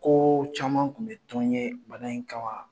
Ko caman tun bɛ tɔn n ye bana in kama.